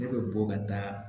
Ne bɛ bɔ ka taa